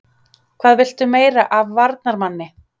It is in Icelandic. Hvað viltu meira af varnarmanni?